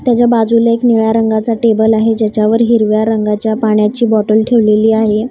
त्याच्या बाजूला एक निळ्या रंगाचा टेबल आहे ज्याच्यावर हिरव्या रंगाच्या पाण्याची बॉटल ठेवलेली आहे.